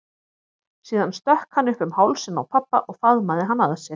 Síðan stökk hann upp um hálsinn á pabba og faðmaði hann að sér.